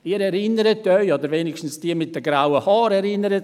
Sie erinnern sich, oder wenigstens erinnern sich diejenigen mit grauen Haaren: